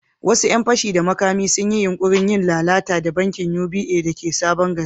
Wasu ‘yan fashi da makami sun yi yunkurin yin lalata da bankin UBA da ke Sabon Gari.